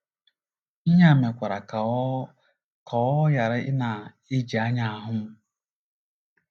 ” Ihe a mekwara ka ọ ka ọ ghara ịna - eji anya ahụ m. ”